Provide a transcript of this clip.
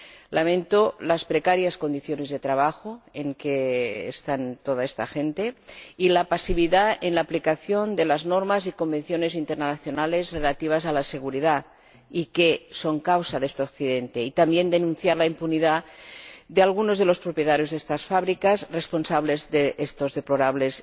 Lamento las precarias condiciones de trabajo en que está toda esta gente y la pasividad en la aplicación de las normas y convenciones internacionales relativas a la seguridad, y que son la causa de este accidente, y también quiero denunciar la impunidad de algunos de los propietarios de estas fábricas, responsables de los deplorables